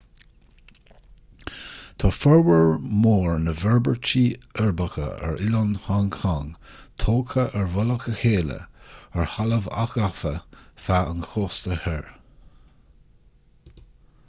tá formhór mór na bhforbairtí uirbeacha ar oileán hong cong tógtha ar mhullach a chéile ar thalamh athghafa feadh an chósta thoir